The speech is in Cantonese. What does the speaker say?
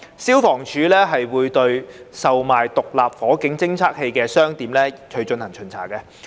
消防處會對售賣獨立火警偵測器的商店進行巡查。